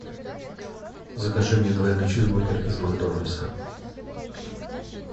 закажи мне двойной чизбургер из макдональдса